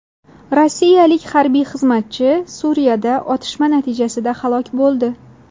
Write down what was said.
Rossiyalik harbiy xizmatchi Suriyada otishma natijasida halok bo‘ldi.